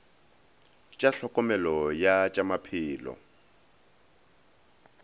tša tlhokomelo ya tša maphelo